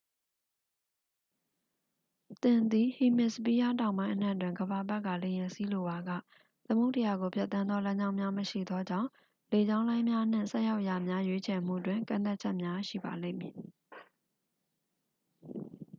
သင်သည် ဟီမစ်စပီးယားတောင်ပိုင်းအနှံ့တွင် ကမ္ဘာပတ်ကာ လေယာဉ်စီးလိုပါက သမုဒ္ဒရာကိုဖြတ်သန်းသောလမ်းကြောင်းများမရှိသောကြောင့် လေကြောင်းလိုင်းများနှင့် ဆိုက်ရောက်ရာများ ရွေးချယ်မှုတွင် ကန့်သတ်ချက်များရှိပါလိမ့်မည်